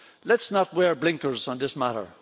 Let's not wear blinkers on this matter.